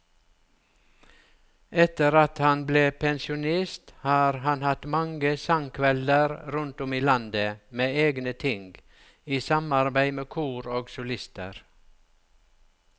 Etter at han ble pensjonist har han hatt mange sangkvelder rundt om i landet med egne ting, i samarbeid med kor og solister.